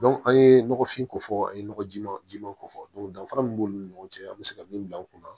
an ye nɔgɔfin kofɔ an ye nɔgɔjiman jiman ko fɔ danfara min b'olu ni ɲɔgɔn cɛ an mi se ka min bila an kunna